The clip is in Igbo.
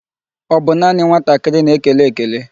Ọ bụ naanị nwatakịrị na-ekele ekele?